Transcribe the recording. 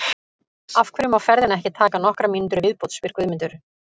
Af hverju má ferðin ekki taka nokkrar mínútur í viðbót? spyr Guðmundur.